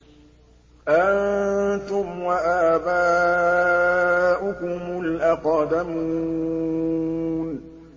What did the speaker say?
أَنتُمْ وَآبَاؤُكُمُ الْأَقْدَمُونَ